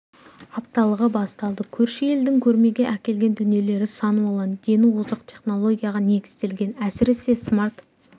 апталығы басталды көрші елдің көрмеге әкелген дүниелері сан алуан дені озық технологияға негізделген әсіресе смарт